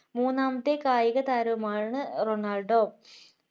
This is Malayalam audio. മൂന്നാമത്തെ കായിക താരവും ആണ് റൊണാൾഡോ